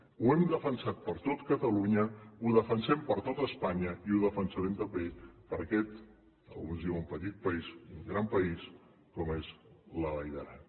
ho hem defensat per a tot catalunya ho defensem per a tot espanya i ho defensarem també per a aquest alguns en diuen petit país gran país com és la vall d’aran